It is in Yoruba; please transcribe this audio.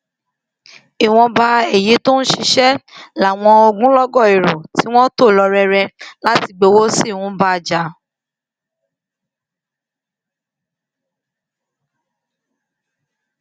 ìwọnba èyí tó ń ṣiṣẹ làwọn ogunlọgọ èrò tí wọn tò lọ rere láti gbowó sí ń bá jà